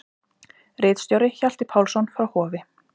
Ritstjóri: Hjalti Pálsson frá Hofi.